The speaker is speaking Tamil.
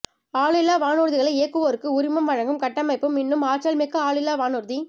ஆளில்லா வானூர்திகளை இயக்குவோருக்கு உரிமம் வழங் கும் கட்டமைப்பும் இன்னும் ஆற் றல்மிக்க ஆளில்லா வானூர்தி